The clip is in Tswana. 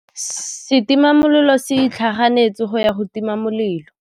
Setima molelô se itlhaganêtse go ya go tima molelô.